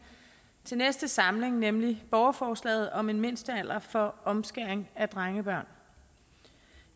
til næste samling nemlig borgerforslaget om en mindstealder for omskæring af drengebørn